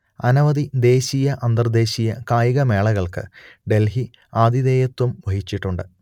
അനവധി ദേശീയ അന്തർദേശീയ കായികമേളകൾക്ക് ഡെൽഹി ആതിഥേയത്വം വഹിച്ചിട്ടുണ്ട്